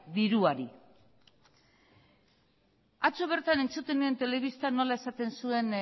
diruari atzo bertan entzuten nuen telebistan nola esaten zuen